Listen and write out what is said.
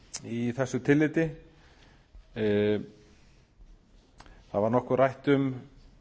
í þessu tilliti það var nokkuð rætt um